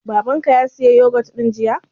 Baban ka ya saya yogut ɗin jiya?